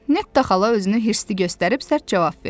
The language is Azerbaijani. Neta xala özünü hirsli göstərib sərt cavab verdi.